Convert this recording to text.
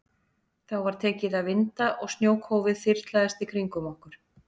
Þá var tekið að vinda og snjókófið þyrlaðist í kringum okkur.